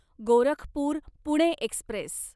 Gorakhpur Pune Express